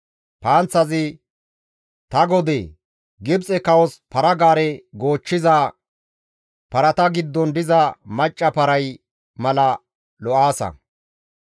«Ta godee! Gibxe kawos para-gaare goochchiza parata giddon diza macca paray mala lo7aasa.